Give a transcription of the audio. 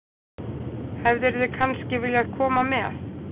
Hefðirðu kannski viljað koma með?